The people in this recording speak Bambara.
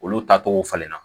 Olu taacogo falen na